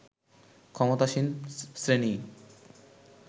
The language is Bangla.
ক্ষমতাসীন শ্রেণীই